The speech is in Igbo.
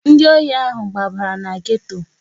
Ndị ohi ahụ gbabara na geto.